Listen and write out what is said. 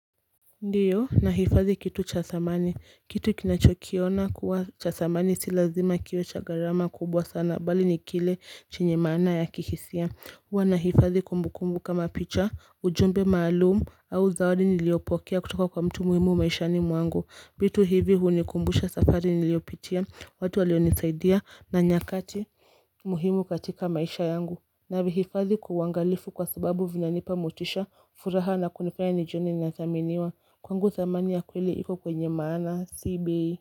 Ndiyo nahifadhi kitu cha thamani kitu kinachokiona kuwa cha thamani si lazima kiwe cha gharama kubwa sana bali ni kile chenye maana ya kihisia huwa nahifadhi kumbukumbu kama picha ujumbe maalumu au zawadi niliyopokea kutoka kwa mtu muhimu maishani mwangu vitu hivi hunikumbusha safari niliyopitia watu walionisaidia na nyakati muhimu katika maisha yangu. Na vihifadhi kwa uangalifu kwa sababu vinanipa motisha furaha na kunifanya nijione ninathaminiwa. Kwangu thamani ya kweli iko kwenye maana. Si bei.